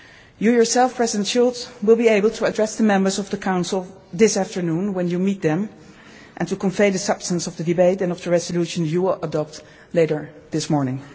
debate. You yourself, President Schulz, will be able to address the members of the Council this afternoon when you meet them, and to convey the substance of the debate and of the resolutions you will adopt later this morning.